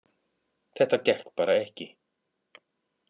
Þetta gekk bara ekki